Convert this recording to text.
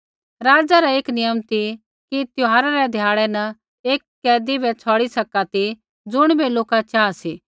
राज़ै रा एक नियम ती कि त्यौहारा रै ध्याड़ै न लोकै री तैंईंयैं सौ एक कैदी बै छ़ौड़ी सका ती ज़ुणिबै लोका चाहा सी